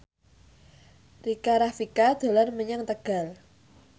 Rika Rafika dolan menyang Tegal